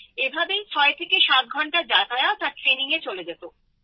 এভাবেই ৬৭ ঘণ্টা যাতায়াত আর ট্রেনিংয়ে চলে যেত